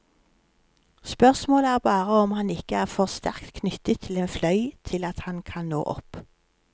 Spørsmålet er bare om han ikke er for sterkt knyttet til en fløy til at han kan nå opp.